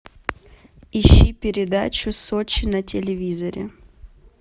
ищи передачу сочи на телевизоре